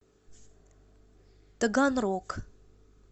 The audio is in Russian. таганрог